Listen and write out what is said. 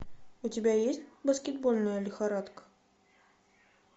у тебя есть баскетбольная лихорадка